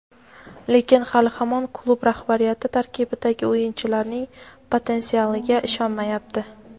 lekin hali hamon klub rahbariyati tarkibdagi o‘yinchilarning potensialiga ishonmayapti.